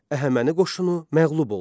Əhəməni qoşunu məğlub oldu.